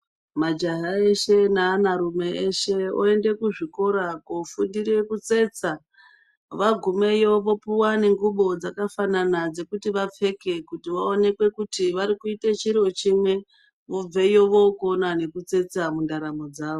Majaha eshe neanarume eshe oenda kuzvikora koofundira kutsetsa. Vagumeyo vopuwa nengubo dzakafanana dzekuti vapfeke kuti vaonekwe kuti vari kuita chiro chimwe. Vobveyo vookona nekutsetsa mundaramo dzavo.